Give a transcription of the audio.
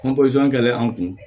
kɛlen an kun